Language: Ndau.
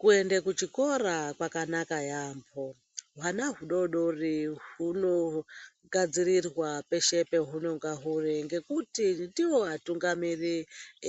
Kuenda kuchikora kwakanaka yambo. Hwana hudodori huno gadzirirwa peshe pahunonga huri, ngekuti ndivo vatungamiri